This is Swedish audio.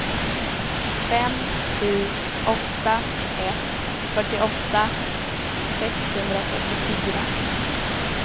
fem sju åtta ett fyrtioåtta sexhundrafyrtiofyra